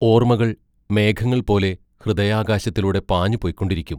ഓർമ്മകൾ മേഘങ്ങൾ പോലെ ഹൃദയാകാശത്തിലൂടെ പാഞ്ഞു പൊയ്ക്കൊണ്ടിരിക്കും.